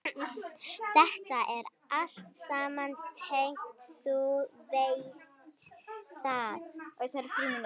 Þetta er allt saman tryggt, þú veist það.